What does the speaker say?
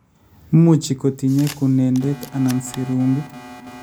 muuchi kotinyei kunenden anan siring'ut